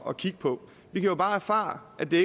at kigge på vi har bare erfaret at det